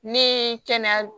Ni kɛnɛya